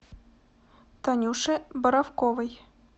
танюше боровковой